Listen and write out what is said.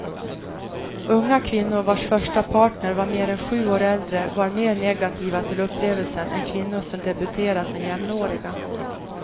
Unga kvinnor vars första partner var mer än sju år äldre var mer negativa till upplevelsen än kvinnor som debuterat med jämnåriga.